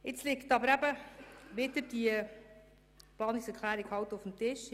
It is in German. Doch nun liegt diese Planungserklärung auf dem Tisch.